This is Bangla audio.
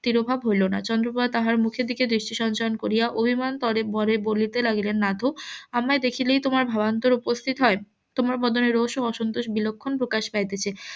তীরভাগ হইল না চন্দ্রপ্রভা তাহার মুখের দিকে দৃষ্টি সঞ্চয়ন করিয়া অভিমান . বলিতে লাগিলেন নাতো আমায় দেখিলেই তোমার ভাবান্তর উপস্থিত হয় তোমার বদনে রোষ ও অসন্তোষ বিলক্ষণ প্রকাশ পাইতেছে